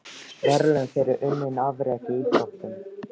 Verðlaun fyrir unnin afrek í íþróttum.